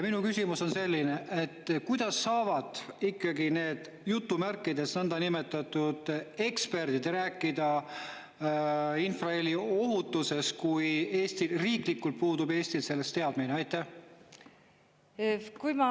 Minu küsimus on selline: kuidas saavad need nõndanimetatud eksperdid rääkida infraheli ohutusest, kui riiklikult puudub Eestil teadmine selle kohta?